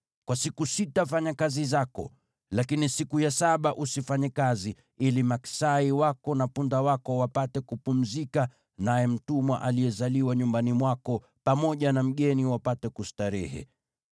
“Kwa siku sita fanya kazi zako, lakini siku ya saba usifanye kazi, ili maksai wako na punda wako wapate kupumzika, naye mtumwa aliyezaliwa nyumbani mwako, pamoja na mgeni, wapate kustarehe.